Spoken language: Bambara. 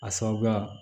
A sababuya